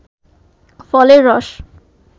ফলের রস